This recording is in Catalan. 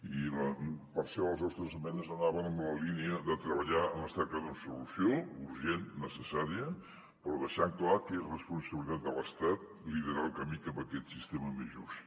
i per això les nostres esmenes anaven en la línia de treballar en la cerca d’una solució urgent necessària però deixant clar que és responsabilitat de l’estat liderar el camí cap a aquest sistema més just